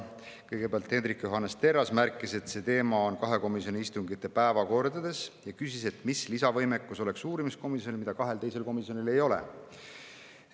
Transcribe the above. Kõigepealt Hendrik Johannes Terras märkis, et see teema on kahe komisjoni istungite päevakordades, ja küsis, mis lisavõimekus oleks uurimiskomisjonil, mida kahel teisel komisjonil ei ole.